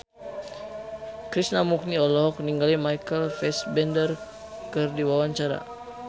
Krishna Mukti olohok ningali Michael Fassbender keur diwawancara